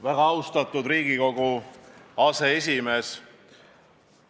Väga austatud Riigikogu aseesimees!